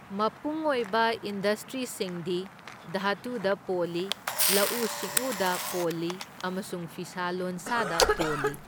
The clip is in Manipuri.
ꯃꯄꯨꯡ ꯑꯣꯏꯕ ꯏꯟꯗꯁꯇ꯭ꯔꯤꯁꯤꯡꯗꯤ ꯙꯥꯇꯨꯗꯥ ꯄꯣꯜꯂꯤ, ꯂꯧꯎ ꯁꯤꯡꯎꯗ ꯄꯣꯜꯂꯤ ꯑꯃꯁꯨꯡ ꯐꯤꯁꯥ ꯂꯣꯟꯁꯥꯗꯥ ꯄꯣꯜꯂꯤ꯫